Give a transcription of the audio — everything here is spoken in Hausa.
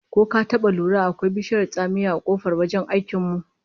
Ko ka taba lura da akwai bishiyar tsamiya a kofar wajen aikin mu?